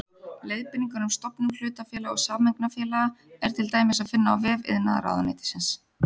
Leiðbeiningar um stofnun hlutafélaga og sameignarfélaga er til dæmis að finna á vef iðnaðarráðuneytisins.